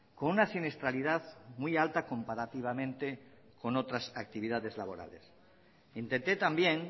con una siniestralidad muy alta comparativamente con otras actividades laborales intenté también